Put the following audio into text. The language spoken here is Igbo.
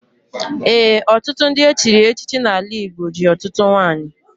Ee, ọtụtụ ndị echiri echichi n'ala Igbo ji ọtụtụ nwanyị.